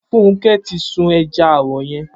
Funke ti sùún ẹ̀já árọ̀ yèn